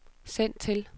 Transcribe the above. send til